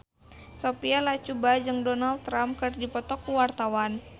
Sophia Latjuba jeung Donald Trump keur dipoto ku wartawan